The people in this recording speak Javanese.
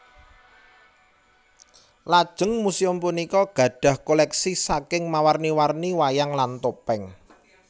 Lajeng muséum punika gadhah koleksi saking mawarni warni wayang lan topeng